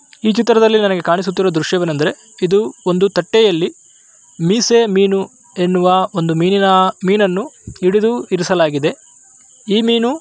ಈ ಚಿತ್ರದಲ್ಲಿ ನನಗೆ ಕಾಣಿಸುತ್ತಿರುವ ದೃಶ್ಯವೇನೆಂದರೆ ಇದು ಒಂದು ತಟ್ಟೆಯಲ್ಲಿ ಮೀಸೆ ಮೀನು ಎನ್ನುವ ಒಂದು ಮೀನಿನ ಮೀನನ್ನು ಹಿಡಿದು ಇರಿಸಲಾಗಿದೆ ಈ ಮೀನು--